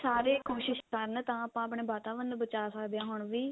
ਸਾਰੇ ਕੋਸ਼ਿਸ਼ ਕਰਨ ਤਾਂ ਆਪਾਂ ਆਪਣੇ ਵਾਤਾਵਰਨ ਨੂੰ ਬਚਾ ਸਕਦੇ ਹਾਂ ਹੁਣ ਵੀ